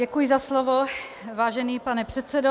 Děkuji za slovo, vážený pane předsedo.